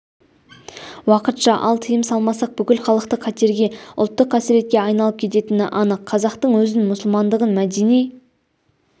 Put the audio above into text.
уақытша ал тыйым салмасақ бүкілхалықтық қатерге ұлттық қасіретке айналып кететіні анық қазақтың өзін мұсылмандығын мәдени